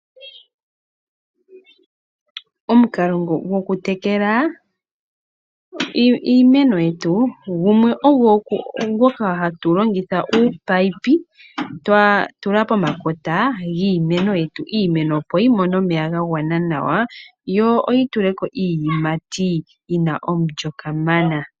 Omukalo gokutekela iimeno yetu gumwe ogo ngoka hatu longitha ominino twa tula pomakota giimeno yetu, iimeno opo yimone omeya gagwana nawa yo yituleko iiyimati yina omulyo kamana.